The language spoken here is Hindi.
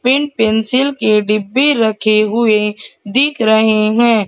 पेन पेंसिल के डब्बे रखे हुए दिख रहे हैं।